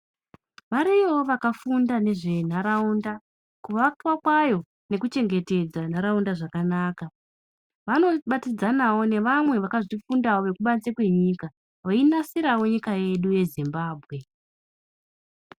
Variyowo vakafunda nezvendaraunda kuvakwa kwayo nekuchengetedza ndaraunda zvakanaka .Vanobatinidzanawo nevamwe vakafunda nezvazvo kubanze kwenyika vainasirawo nyika yedu yeZimbabwe